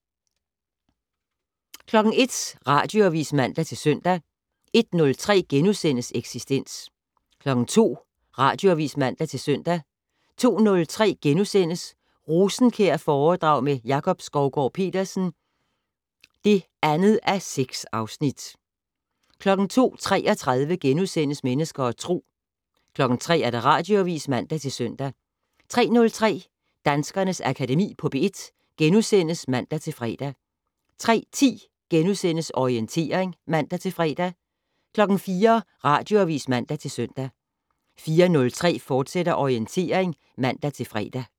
01:00: Radioavis (man-søn) 01:03: Eksistens * 02:00: Radioavis (man-søn) 02:03: Rosenkjærforedrag med Jakob Skovgaard-Petersen (2:6)* 02:33: Mennesker og Tro * 03:00: Radioavis (man-søn) 03:03: Danskernes Akademi på P1 *(man-fre) 03:10: Orientering *(man-fre) 04:00: Radioavis (man-søn) 04:03: Orientering, fortsat (man-fre)